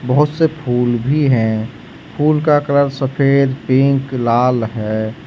बहुत से फूल भी है फूल का कलर सफेद पिंक लाल है।